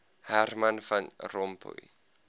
herman van rompuy